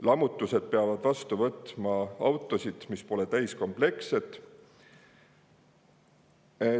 Lammutused peavad vastu võtma autosid, mis pole täiskomplektsed.